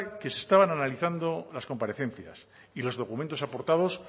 que se estaban analizando las comparecencias y los documentos aportados